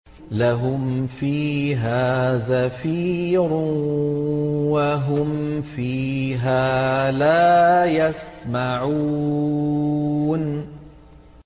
لَهُمْ فِيهَا زَفِيرٌ وَهُمْ فِيهَا لَا يَسْمَعُونَ